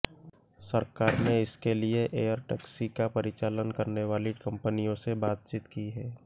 सरकार ने इसके लिए एयर टैक्सी का परिचालन करने वाली कंपनियों से बातचीत की है